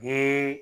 Ni